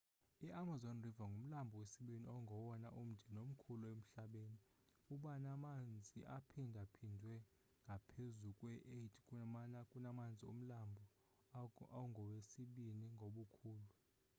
i-amazon river ngumlambo wesibini ongowona umde nomkhulu emhlabeni ubanamanzi aphindaphindwe ngaphezu kwe-8 kunamanzi omlambo ongowesibini ngobukhulu